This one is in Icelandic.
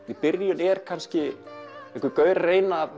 í byrjun er kannski einhver gaur að reyna að